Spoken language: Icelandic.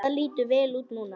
Það lítur vel út núna.